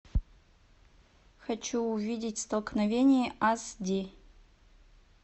хочу увидеть столкновение ас ди